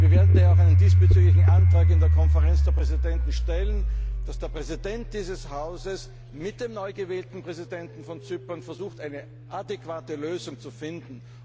Wir werden daher diesbezüglich auch einen Antrag in der Konferenz der Präsidenten stellen, dass der Präsident dieses Hauses mit dem neu gewählten Präsidenten Zyperns versucht, eine adäquate Lösung zu finden.